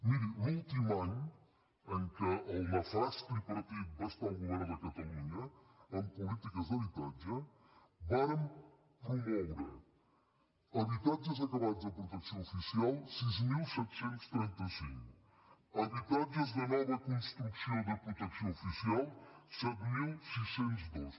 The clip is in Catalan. mirin l’últim any en què el nefast tripartit va estar al govern de catalunya en polítiques d’habitatge vàrem promoure habitatges acabats de protecció oficial sis mil set cents i trenta cinc habitatges de nova construcció de protecció oficial set mil sis cents i dos